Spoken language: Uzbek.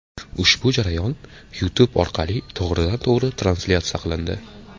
Ushbu jarayon YouTube orqali to‘g‘ridan-to‘g‘ri translyatsiya qilindi .